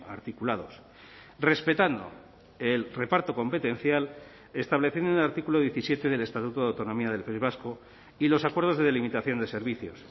articulados respetando el reparto competencial estableciendo en el artículo diecisiete del estatuto de autonomía del país vasco y los acuerdos de delimitación de servicios